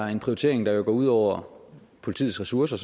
er en prioritering der vil gå ud over politiets ressourcer